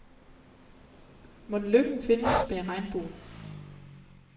Mon lykken findes bag regnbuen?